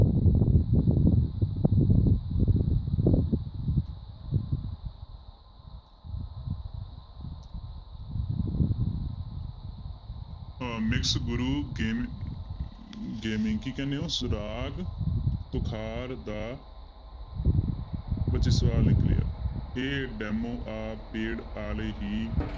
ਅਹ ਗੁਰ ਕੀ ਕਹਿਨੇ ਹੋ ਸੁਰਾਗ ਤੁਖਾਰ ਦਾ ਬੱਚੇ ਸਵਾਲ ਨੀ clear ਇਹ demo ਆ paid ਵਾਲੇ ਹੀ